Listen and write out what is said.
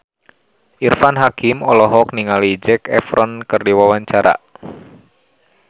Irfan Hakim olohok ningali Zac Efron keur diwawancara